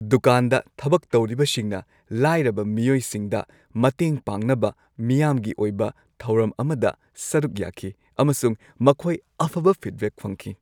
ꯗꯨꯀꯥꯟꯗ ꯊꯕꯛ ꯇꯧꯔꯤꯕꯁꯤꯡꯅ ꯂꯥꯏꯔꯕ ꯃꯤꯑꯣꯏꯁꯤꯡꯗ ꯃꯇꯦꯡ ꯄꯥꯡꯅꯕ ꯃꯤꯌꯥꯝꯒꯤ ꯑꯣꯏꯕ ꯊꯧꯔꯝ ꯑꯃꯗ ꯁꯔꯨꯛ ꯌꯥꯈꯤ ꯑꯃꯁꯨꯡ ꯃꯈꯣꯏ ꯑꯐꯕ ꯐꯤꯗꯕꯦꯛ ꯐꯪꯈꯤ ꯫